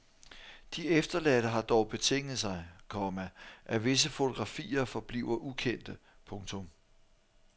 De efterladte har dog betinget sig, komma at visse fotografier forbliver ukendte. punktum